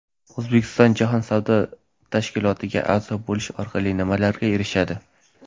O‘zbekiston Jahon savdo tashkilotiga a’zo bo‘lish orqali nimalarga erishadi?.